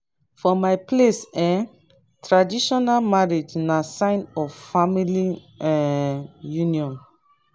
for my place um traditional marriage na sign of family um union.